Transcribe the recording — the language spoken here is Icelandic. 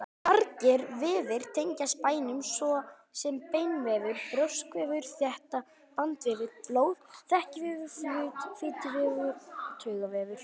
Margir vefir tengjast beinum, svo sem beinvefur, brjóskvefur, þéttur bandvefur, blóð, þekjuvefur, fituvefur og taugavefur.